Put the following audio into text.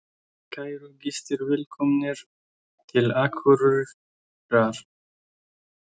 Kæru gestir! Velkomnir til Akureyrar.